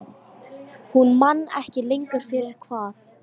Hún man ekki lengur fyrir hvað.